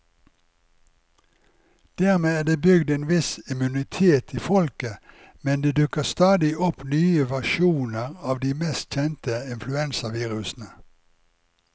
Dermed er det bygd en viss immunitet i folket, men det dukker stadig opp nye versjoner av de mest kjente influensavirusene.